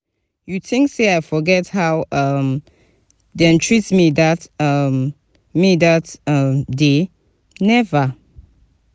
you tink sey i go forget how um dem treat me dat um me dat um day? never!